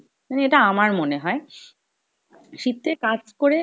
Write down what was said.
মানে এটা আমার মনে হয়। শীতে কাজ করে